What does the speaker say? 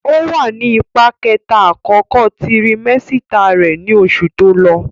Ó wà nì ipá kẹta àkókò tirimẹ́sítà rẹ̀ ní oṣù tó lọ